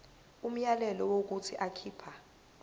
umyalelo wokuthi akhipha